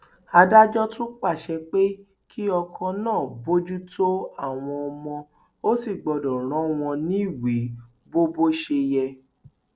adájọ tún pàṣẹ pé kí ọkọ náà bójútó àwọn ọmọ ò sì gbọdọ rán wọn níwèé bó bó ṣe yẹ